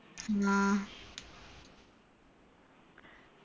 ആ